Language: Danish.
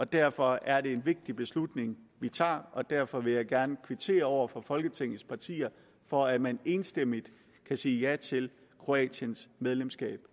derfor er det en vigtig beslutning vi tager og derfor vil jeg gerne kvittere over for folketingets partier for at man enstemmigt kan sige ja til kroatiens medlemskab